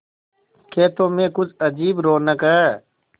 खेतों में कुछ अजीब रौनक है